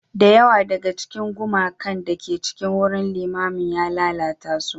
Da yawa daga cikin gumakan da ke cikin wurin limamin ya lalata su.